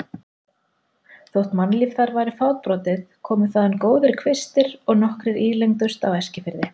Þótt mannlíf þar væri fábrotið komu þaðan góðir kvistir og nokkrir ílengdust á Eskifirði.